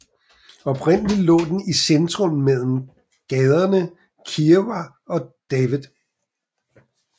Oprindeligt lå den i centrum mellem gaderne Kiewa and David